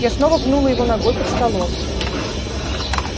я снова пнула его ногой под столом